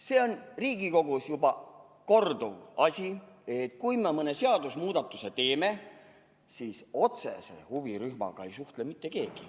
See on Riigikogus juba korduv asi, et kui me mõne seadusemuudatuse teeme, siis otsese huvirühmaga ei suhtle mitte keegi.